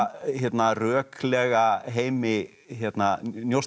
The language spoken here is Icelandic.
röklega heimi